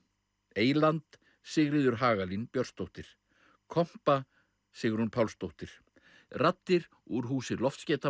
eyland Sigríður Hagalín Björnsdóttir kompa Sigrún Pálsdóttir raddir úr húsi